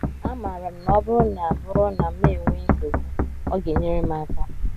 Amaara m na ọ bụrụ na bụrụ na m enwee nsogbu, ọ ga - enyere m aka. ”